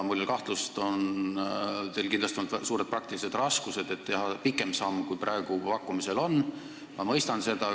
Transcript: Mul on kahtlus, et teil on suuri praktilisi raskusi, et teha praegu pakkumisel olevast sammust pikem samm, ja ma mõistan seda.